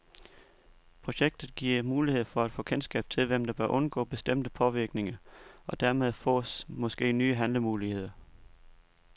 Projektet giver mulighed for at få kendskab til, hvem der bør undgå bestemte påvirkninger, og dermed fås måske nye handlemuligheder.